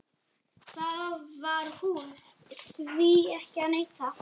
Það var hún, því er ekki að neita.